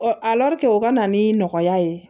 o ka na ni nɔgɔya ye